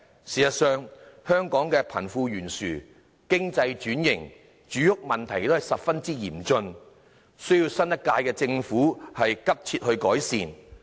事實上，香港的貧富懸殊、經濟轉型和住屋問題仍然十分嚴峻，需要新一屆政府急切改善。